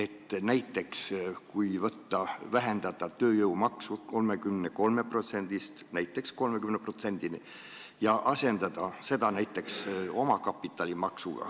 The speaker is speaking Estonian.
Toon näiteks selle, et võiks vähendada tööjõumakse 33%-st 30%-ni ja võtta asendusena kasutusele omakapitalimaksu.